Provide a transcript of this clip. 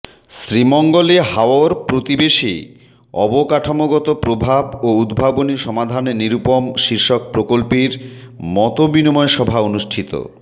শ্রীমঙ্গলে হাওর প্রতিবেশে অবকাঠামোগত প্রভাব ও উদ্ভাবনী সমাধান নিরূপম শীষর্ক প্রকল্পের মতবিনিময় সভা অনুষ্ঠিত